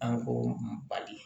An ko bali